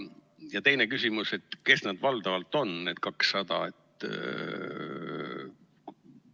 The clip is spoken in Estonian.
Ja teine küsimus: kes nad valdavalt on, need 200?